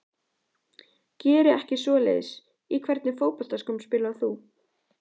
Geri ekki svoleiðis Í hvernig fótboltaskóm spilar þú?